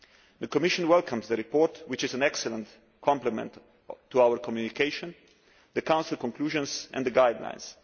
The Commission welcomes the report which is an excellent complement to our communication the Council conclusions and the guidelines.